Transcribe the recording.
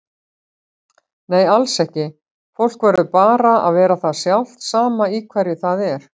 Nei alls ekki, fólk verður bara að vera það sjálft sama í hverju það er.